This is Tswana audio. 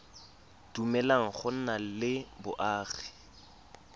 dumeleleng go nna le boagi